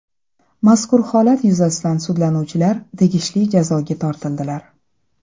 Mazkur holat yuzasidan sudlanuvchilar tegishli jazoga tortildilar.